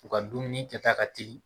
U ka dumuni kɛta ka teli